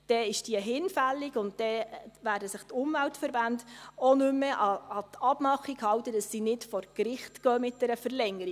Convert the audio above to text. Dann werden sich die Umweltverbände auch nicht mehr an die Abmachung halten, dass sie mit dieser Verlängerung nicht vor Gericht gehen.